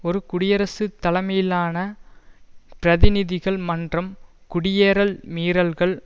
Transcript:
ஒரு குடியரசு தலைமையிலான பிரதிநிதிகள் மன்றம் குடியேறல் மீறல்கள்